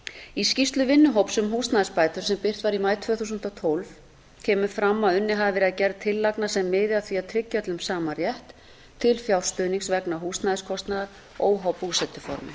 í skýrslu vinnuhóps um húsnæðisbætur sem birt var í maí tvö þúsund og tólf kemur fram að unnið hafi verið að gerð tillagna sem miði að því að tryggja öllum sama rétt til fjárstuðnings vegna húsnæðiskostnaðar óháð búsetuformi